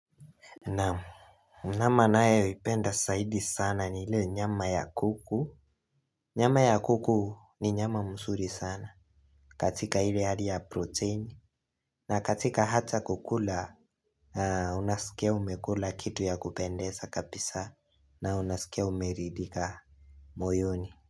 Nyama nayeipenda saidi sana ni ile nyama ya kuku. Nyama ya kuku ni nyama msuri sana katika ile hali ya protein. Na katika hata kukula unasikia umekula kitu ya kupendeza kapisa na unasikia umeridhika moyoni.